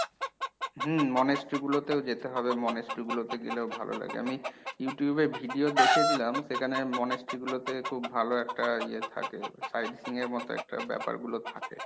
হুম monastery গুলোতেও যেতে হবে monastery গুলোতে গেলেও ভালো লাগে আমি Youtube এ video দেখেছিলাম সেখানে monastery গুলোতে খুব ভালো একটা ইয়ে থাকে side seeing এর মত একটা ব্যপারগুলো থাকে।